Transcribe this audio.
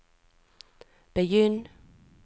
begynn